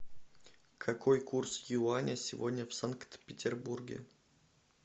какой курс юаня сегодня в санкт петербурге